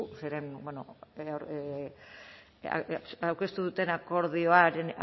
aurkeztu duten